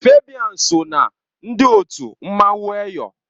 Fabian so ná ndị otu mmanwụ Eyọ